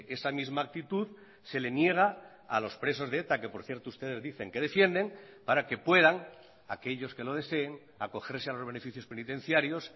esa misma actitud se le niega a los presos de eta que por cierto ustedes dicen que defienden para que puedan aquellos que lo deseen acogerse a los beneficios penitenciarios